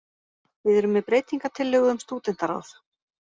Við erum með breytingartillögu um stúdentaráð